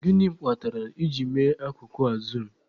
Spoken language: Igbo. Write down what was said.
Gịnị kpatara I ji mee akụkụ a zuum?